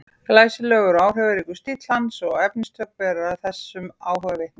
Glæsilegur og áhrifaríkur stíll hans og efnistök bera þessum áhuga vitni.